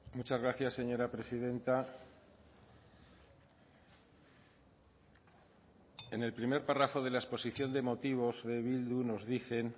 muchas gracias señora presidenta en el primer párrafo de la exposición de motivos de bildu nos dicen